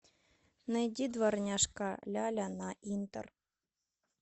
найди дворняжка ляля на интер